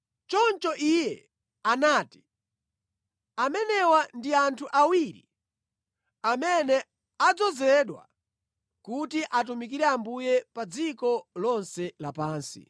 Choncho iye anati, “Amenewa ndi anthu awiri amene adzozedwa kuti atumikire Ambuye pa dziko lonse lapansi.”